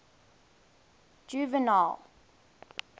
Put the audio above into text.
juvenal